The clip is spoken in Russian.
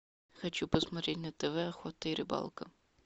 хочу посмотреть на тв охота и рыбалка